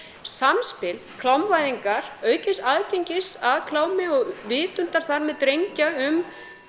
samspil klámvæðingar aukins aðgengis að klámi og vitundar þar með drengja um